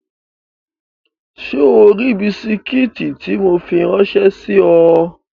Ṣé o ri bisikí tí mo fi ráńṣẹ́ sí ọ?